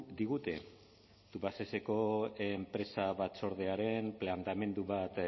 digute tubacexeko enpresa batzordearen planteamendu bat